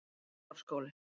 Glerárskóli